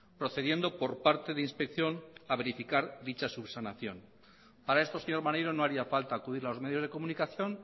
procediendo por parte de inspección a verificar dicha subsanación para esto señor maneiro no haría falta acudir a los medios de comunicación